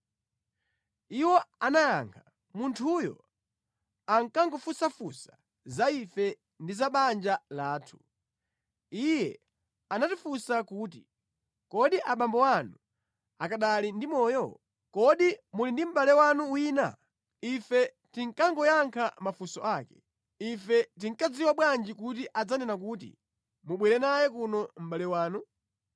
Iwo anayankha, “Munthuyo ankangofunsafunsa za ife ndi za banja lathu. Iye anatifunsa kuti, ‘Kodi abambo anu akanali ndi moyo? Kodi muli ndi mʼbale wanu wina?’ Ife tinkangoyankha mafunso ake. Ife tikanadziwa bwanji kuti adzanena kuti, ‘Mubwere naye kuno mʼbale wanu’?”